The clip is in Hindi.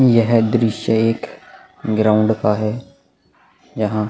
यह दृश्य एक ग्राउंड का है यहाँ --